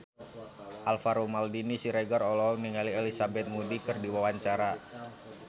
Alvaro Maldini Siregar olohok ningali Elizabeth Moody keur diwawancara